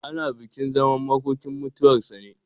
Ana bukin zaman makokinmutuwar sa ne.